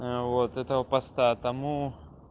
аа вот этого поста тому